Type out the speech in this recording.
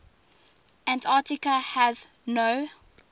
antarctica has no